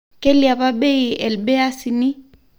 Keiliapa bei elbeasini